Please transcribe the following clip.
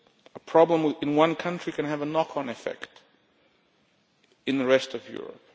A problem in one country can have a knock-on effect in the rest of Europe.